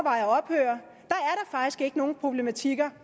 nogen problematikker